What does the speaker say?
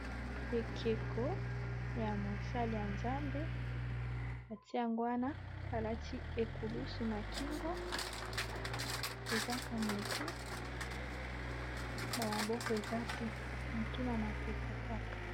Ekeko ya mosali ya nzambe atiango wana alati ekulusu na kingo ezaka motu ba maboko eza te motu na mapeka kaka.